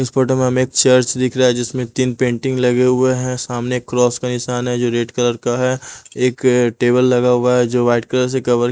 इस फोटो में हमें एक चर्च दिख रहा है जिसमें तीन पेंटिंग लगे हुए हैं सामने एक क्रॉस का निशान है जो रेड कलर का है एक टेबल लगा हुआ है जो वाइट कलर से कवर --